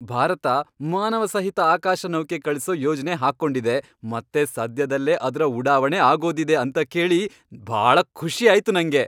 ಭಾರತ ಮಾನವಸಹಿತ ಆಕಾಶನೌಕೆ ಕಳಿಸೋ ಯೋಜ್ನೆ ಹಾಕ್ಕೊಂಡಿದೆ ಮತ್ತೆ ಸದ್ಯದಲ್ಲೇ ಅದ್ರ ಉಡಾವಣೆ ಆಗೋದಿದೆ ಅಂತ ಕೇಳಿ ಭಾಳ ಖುಷಿ ಆಯ್ತು ನಂಗೆ.